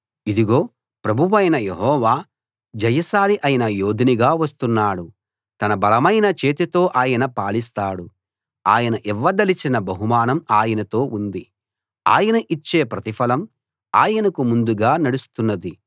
ఇదిగో ప్రభువైన యెహోవా జయశాలి అయిన యోధునిగా వస్తున్నాడు తన బలమైన చేతితో ఆయన పాలిస్తాడు ఆయన ఇవ్వదలచిన బహుమానం ఆయనతో ఉంది ఆయన ఇచ్చే ప్రతిఫలం ఆయనకు ముందుగా నడుస్తున్నది